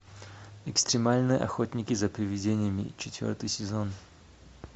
экстремальные охотники за привидениями четвертый сезон